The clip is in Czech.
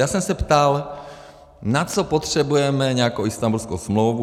Já jsem se ptal, na co potřebujeme nějakou Istanbulskou smlouvu.